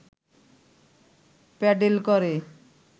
pedal করে